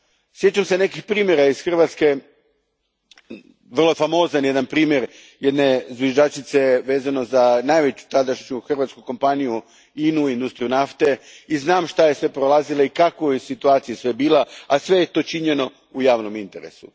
Sjećam se nekih primjera iz Hrvatske, vrlo famozan jedan primjer, jedne zviždačice vezano za najveću tadašnju hrvatsku kompaniju INA u, industriju nafte, i znam što je sve prolazila i u kakvoj je situaciji sve bila, a sve je to činjeno u javnom interesu.